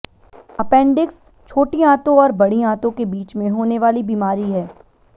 appendix छोटी आंतों और बड़ी आंतों के बीच में होने वाली बीमारी है